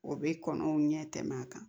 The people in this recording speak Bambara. O bɛ kɔnɔnɛ ɲɛtɛmɛ a kan